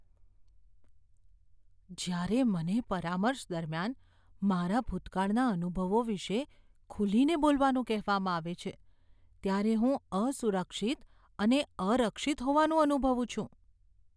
જ્યારે મને પરામર્શ દરમિયાન મારા ભૂતકાળના અનુભવો વિશે ખુલીને બોલવાનું કહેવામાં આવે છે ત્યારે હું અસુરક્ષિત અને અરક્ષિત હોવાનું અનુભવું છું.